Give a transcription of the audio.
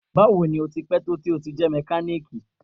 Bawo ni o ti pẹ to ti jẹ mekaniki?